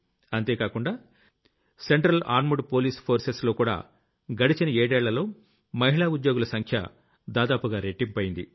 అంతేకాకుండా central armed police forces లో కూడా గడచిన ఏడేళ్లలో మహిళా ఉద్యోగుల సంఖ్య దాదాపుగా రెట్టింపయ్యింది